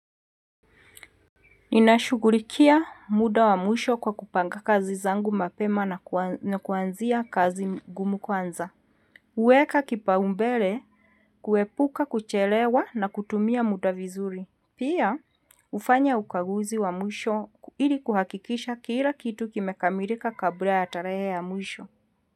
Ninashugulikia muda wa mwisho kwa kupanga kazi zangu mapema na kuanzia kazi ngumu kwanza. Huweka kipao mbele kuepuka kuchelewa na kutumia muda vizuri. Pia hufanya ukaguzi wa mwisho ili kuhakikisha kila kitu kimekamirika kabla ya tarehe ya mwisho.